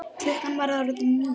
Klukkan var orðin níu.